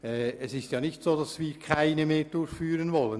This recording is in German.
Es ist nicht so, dass wir keine solchen mehr durchführen wollen.